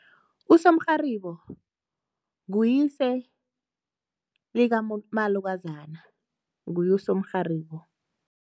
Usomrharibo, nguyise likamalukazana. Nguye usomrharibo.